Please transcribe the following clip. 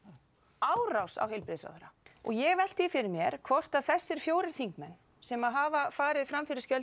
árás á heilbrigðisráðherra og ég velti því fyrir mér hvort að þessi fjórir þingmenn sem hafa farið fram fyrir skjöldu